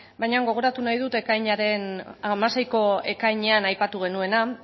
baina gogoratu nahi dut ekainaren hamaseiko ekainean aipatu genuena